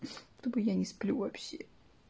то бы я не сплю вообще